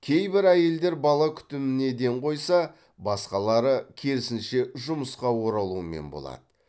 кейбір әйелдер бала күтіміне ден қойса басқалары керісінше жұмысқа оралумен болады